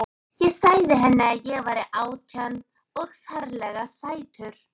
Ég sagði henni að hann væri átján og ferlega sætur.